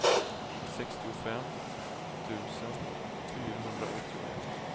sextiofem tusen fyrahundraåttioett